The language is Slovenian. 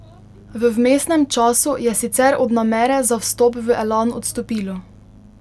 V vmesnem času je sicer od namere za vstop v Elan odstopilo.